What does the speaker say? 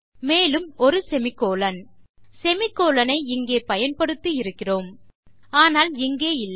மேலும் ஒரு semicolon semicolon ஐ இங்கே பயன்படுத்தி இருக்கிறோம் ஆனால் இங்கே இல்லை